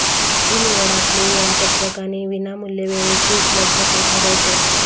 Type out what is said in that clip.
ही निवड आपले वेळापत्रक आणि विनामूल्य वेळेची उपलब्धता ठरवते